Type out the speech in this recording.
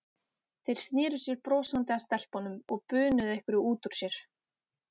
Þeir sneru sér brosandi að stelpunum og bunuðu einhverju út úr sér.